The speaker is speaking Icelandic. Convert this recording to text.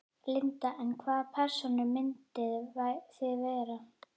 Linda: En hvaða persónur myndið þið vera?